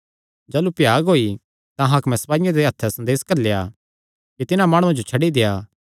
जाह़लू भ्याग होई तां हाकमे सपाईयां दे हत्थ संदेसा घल्लेया कि तिन्हां माणुआं जो छड्डी देआ